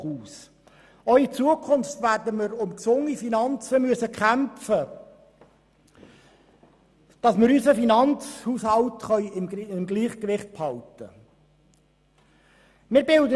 Auch in Zukunft werden wir für gesunde Finanzen kämpfen müssen, damit wir unseren Finanzhaushalt im Gleichgewicht halten können.